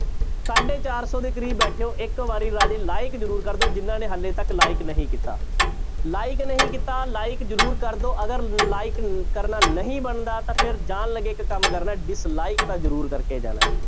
ਸਾਢੇ ਚਾਰ ਸੌ ਦੇ ਕਰੀਬ ਬੈਠੇ ਹੋ ਇੱਕ ਵਾਰੀ ਰਾਜੇ like ਜ਼ਰੂਰ ਕਰ ਦਓ ਜਿਹਨਾਂ ਨੇ ਹਾਲੇ ਤੱਕ like ਨਹੀਂ ਕੀਤਾ like ਨਹੀਂ ਕੀਤਾ like ਜ਼ਰੂਰ ਕਰ ਦਓ ਅਗਰ like ਕਰਨਾ ਨਹੀਂ ਬਣਦਾ ਤਾਂ ਫਿਰ ਜਾਣ ਲੱਗੇ ਇੱਕ ਕੰਮ ਕਰਨਾ dislike ਤਾਂ ਜ਼ਰੂਰ ਕਰਕੇ ਜਾਣਾ ਹੈ।